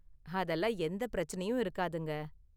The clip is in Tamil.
அதெல்லாம் எந்த பிரச்சனையும் இருக்காதுங்க.